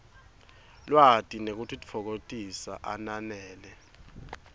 lwati nekutitfokotisa ananele